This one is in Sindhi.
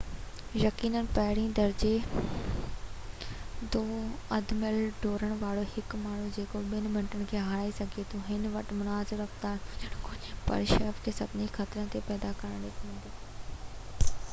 يقيناً پهرين درجي جو اڌ ميل ڊوڙڻ وارو هڪ ماڻهو جيڪو ٻہ منٽن کي هارائي سگهي ٿو هن وٽ مناسب رفتار هجڻ گهرجي پر سهپ کي سڀني خطرن تي پيدا ڪرڻي پوندي